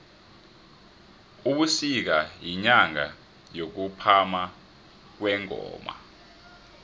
ubusika yinyanga yokuphama kwengoma